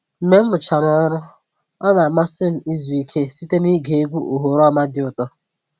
Mgbe m rụchara ọrụ, ọ na-amasị m izu ike site nige egwu oghoroma dị ụtọ